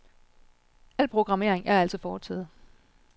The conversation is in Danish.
Al programmering er altså foretaget.